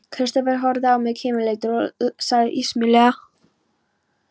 Kristófer horfði á mig kímileitur og sagði ísmeygilega